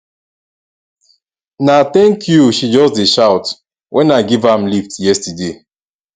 na tank you she just dey shout wen i give am lift yesterday